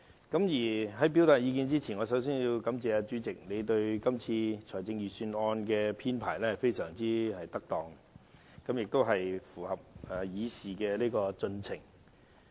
但在發言之前，我首先要感謝主席，他就今次財政預算案會議的編排可說非常恰當，亦符合議事規程。